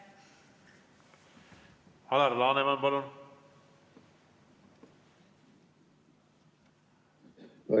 Alar Laneman, palun!